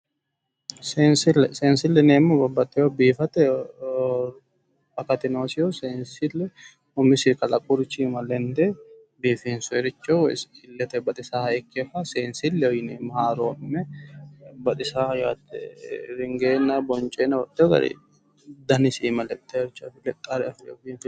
seensille seensille yineemmohu babbaxxino biifate akati noosiho umisi iima lende biifinsoyiricho illete baxisaaricho seensilleho yineemmo haaroo'minoha baxisaaho yaate ringeenna woyi bonceenna lexxe biifanno garaati.